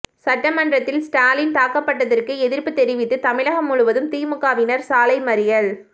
சட்டமன்றத்தில் ஸ்டாலின் தாக்கப்பட்டதற்கு எதிர்ப்பு தெரிவித்து தமிழகம் முழுவதும் திமுகவினர் சாலை மறியல்